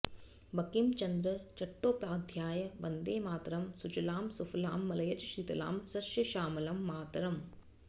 बंकिमचन्द्र चट्टोपाध्याय वन्दे मातरम् सुजलां सुफलां मलयजशीतलाम् शस्य श्यामलां मातरं